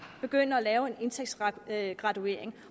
begynder at lave en indtægtsgraduering